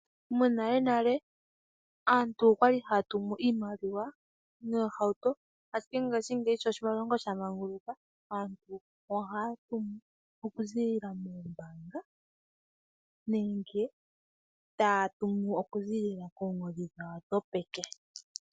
Monalenale aantu oya li haa tumu iimaliwa noohauto, ashike ngashingeyi sho oshilongo sha manguluka, aantu ohaa tumu okuziilila moombaanga nenge okuziilila koongodhi dhawo dhopeke.